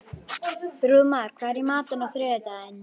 Þrúðmar, hvað er í matinn á þriðjudaginn?